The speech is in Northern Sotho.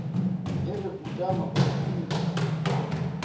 e re utama o mpitše